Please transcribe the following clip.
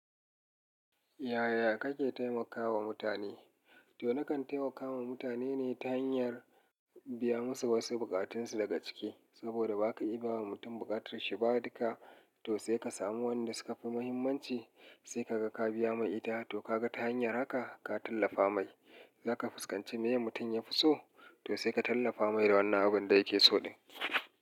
Yaya kake taimakawa mutane? To na kan taimakawa mutane ne ta hanyar biya musu wasu bukatunsu daga ciki. Saboda ba ka iya bawa mutum buƙatarshi ba dukka, to sai ka samu wanda suka fi muhimmanci sai ka ga ka biya mai ita, to ka ga ta hanyar haka ka tallafa mai. Za ka fuskanci me mutum ya fi so, toh sai ka tallafa mai da wannan abun da yake so.